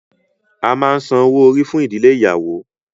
À máa ńsan owo-ori fun idile iyawo.